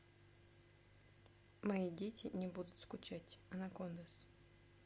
мои дети не будут скучать анакондаз